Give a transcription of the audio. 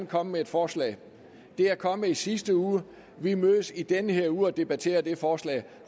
komme med et forslag det er kommet i sidste uge og vi mødes i denne uge og debatterer det forslag